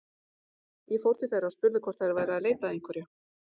Ég fór til þeirra og spurði hvort þær væru að leita að einhverju.